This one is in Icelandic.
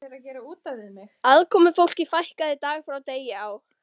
Aðkomufólki fækkaði dag frá degi á